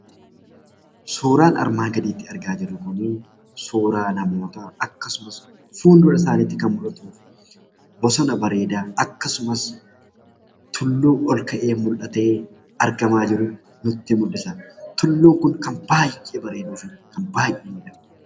Suuraan armaan gaditti argaa jirru kun suuraa namootaa akkasumas fuuldura isaaniitti kan mul'atu bosona bareedaa akkasumas tulluu ol ka'ee mul'atee argamaa jiru nutti mul'isa. Tulluun kun kan baay'ee bareeduu fi kan baay'ee miidhagudha.